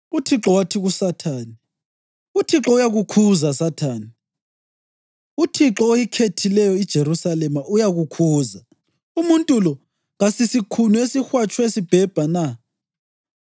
UThixo wathi kuSathane, “ UThixo uyakukhuza, Sathane! UThixo oyikhethileyo iJerusalema, uyakukhuza! Umuntu lo kasisikhuni esihwatshwe sibhebha na?”